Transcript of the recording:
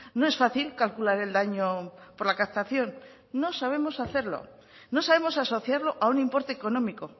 no es fácil calcular el daño por la captación no sabemos hacerlo no sabemos asociarlo a un importe económico